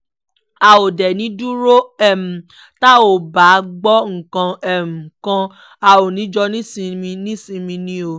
a ò dé ní í dúró um tá ò bá gbọ́ nǹkan um kan a ò ní í jọ nísinmi nísinmi ni o